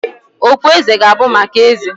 Okpueze ga-abụ maka Eze